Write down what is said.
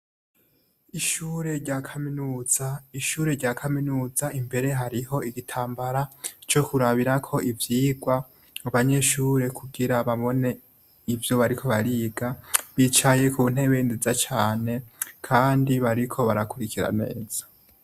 Ishure rya kaminuza, ishure rya kaminuza imbere hariho igitambara co kurabirako ivyigwa, abanyeshure kugira babone ivyo bariko bariga bicaye ku ntebe nziza cane, Kandi bariko barakurikira neza.